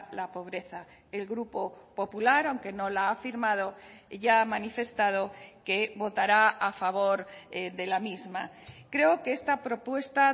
la pobreza el grupo popular aunque no la ha firmado ya ha manifestado que votará a favor de la misma creo que esta propuesta